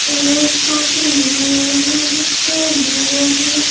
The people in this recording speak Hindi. यहाँ एक टोकरी है यहाँ पर एक स्टैंड है यहाँ पे--